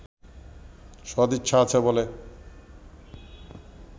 সদিচ্ছা আছে বলে